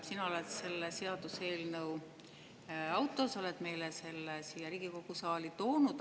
Sina oled selle seaduseelnõu autor ja sina oled meile selle siia Riigikogu saali toonud.